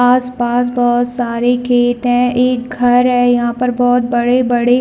आस-पास बहोत सारे खेत है एक घर है यहाँ पर बहोत बड़े-बड़े--